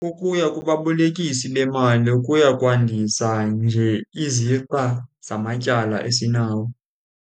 Ukuya kubabolekisi bemali kuya kwandisa nje izixa zamatyala esinawo.